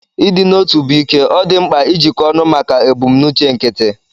Ịdị n'otu bụ ike; ọ dị mkpa ijikọ ọnụ maka ebumnuche nkịtị.